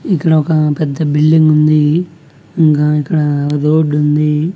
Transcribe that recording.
ఇక్కడ ఒక పెద్ద బిల్డింగ్ ఉంది ఇంగా ఇక్కడ రోడ్డు ఉంది.